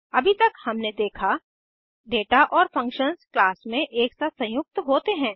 अभी तक हमने देखा दाता और फंक्शंस क्लास में एक साथ संयुक्त होते हैं